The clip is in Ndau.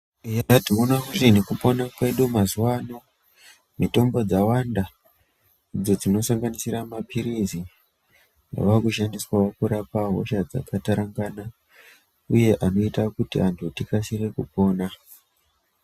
Eya tinoona kuti nekupona kwedukwo mazuwa ano mitombo dzawanda dzetinosanganisira mapirizi ava kushandiswawo kurapa hosha dzakatarangana uye anoita kuti anhu tikasire kupona.